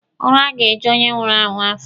Ụra ga-eju onye nwụrụ anwụ afọ.